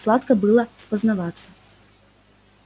сладко было спознаваться